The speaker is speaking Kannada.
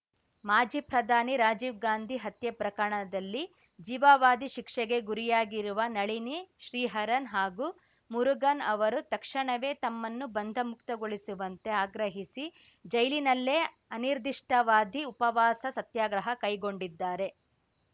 ಮಾಜಿ ಪ್ರಧಾನಿ ರಾಜೀವ್‌ ಗಾಂಧಿ ಹತ್ಯೆ ಪ್ರಕರಣದಲ್ಲಿ ಜೀವಾವಧಿ ಶಿಕ್ಷೆಗೆ ಗುರಿಯಾಗಿರುವ ನಳಿನಿ ಶ್ರೀಹರನ್‌ ಹಾಗೂ ಮುರುಗನ್‌ ಅವರು ತಕ್ಷಣವೇ ತಮ್ಮನ್ನು ಬಂಧ ಮುಕ್ತಗೊಳಿಸುವಂತೆ ಆಗ್ರಹಿಸಿ ಜೈಲಿನಲ್ಲೇ ಅನಿರ್ದಿಷ್ಟಾವಧಿ ಉಪವಾಸ ಸತ್ಯಾಗ್ರಹ ಕೈಗೊಂಡಿದ್ದಾರೆ